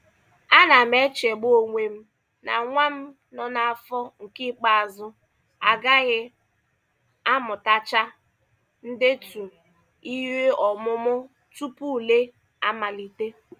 Ana m echegbu onwe m na nwa m nọ n'afọ nke ikpeazụ agaghị amutacha ndetu ihe ọmụmụ tupu ule amalite.